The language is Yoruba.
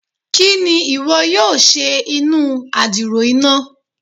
Kini iwọ yoo ṣe inu adiro ina?